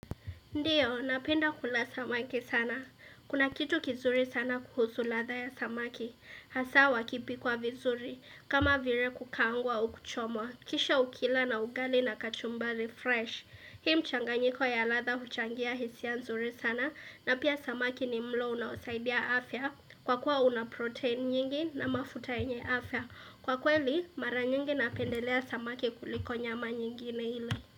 Ndiyo, napenda kula samaki sana. Kuna kitu kizuri sana kuhusu ladha ya samaki. Hasa, wakipikwa vizuri. Kama vile kukaangwa au kuchomwa. Kisha ukila na ugali na kachumbari fresh. Hii mchanganyiko ya ladha huchangia hisia nzuri sana. Na pia samaki ni mlo unaosaidia afya. Kwa kuwa una protein nyingi na mafuta yenye afya. Kwa kweli, mara nyingi napendelea samaki kuliko nyama nyingine ile.